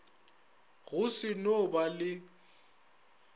go se no ba le